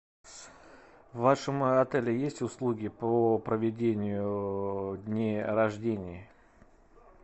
в вашем отеле есть услуги по проведению дней рождений